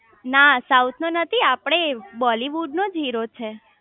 ના સાઉથ નો નથી આપડે બોલીવુડ નો હીરો છે